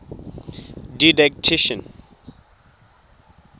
didactician